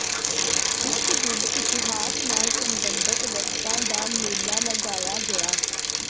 ਇਸ ਦਿਨ ਇਤਿਹਾਸ ਨਾਲ ਸਬੰਧਤ ਵਸਤਾਂ ਦਾ ਮੇਲਾ ਲਗਾਇਆ ਗਿਆ